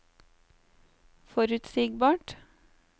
forutsigbart